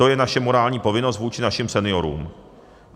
To je naše morální povinnosti vůči našim seniorům.